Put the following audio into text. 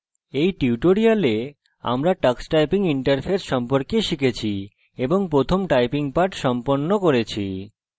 in tutorial আমরা tux typing interface সম্পর্কে শিখেছি এবং প্রথম typing পাঠ সম্পন্ন করেছি